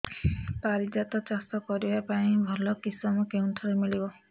ପାରିଜାତ ଚାଷ କରିବା ପାଇଁ ଭଲ କିଶମ କେଉଁଠାରୁ ମିଳିବ